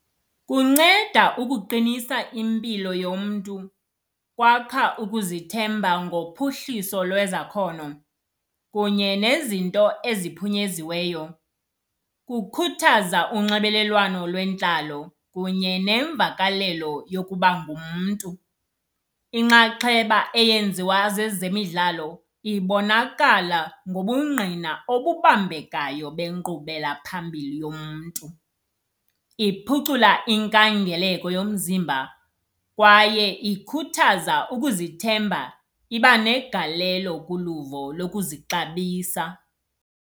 Kunceda ukuqinisa impilo yomntu. Kwakha ukuzithemba ngophuhliso lwezakhono kunye nezinto eziphuyenziweyo. Kukhuthaza unxibelelwano lwentlalo kunye nemvakalelo yokuba ngumntu. Inxaxheba eyenziwa zezemidlalo ibonakala ngobungqina obubambekayo benkqubela phambili yomntu. Iphucula inkangeleko yomzimba, kwaye ikhuthaza ukuzithemba, iba negalelo kuluvo lokuzixabisa.